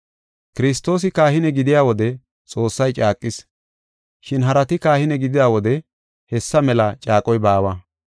Kiristoosi kahine gidiya wode Xoossay caaqis, shin harati kahine gidida wode hessa mela caaqoy baawa.